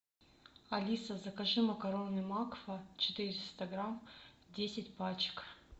алиса закажи макароны макфа четыреста грамм десять пачек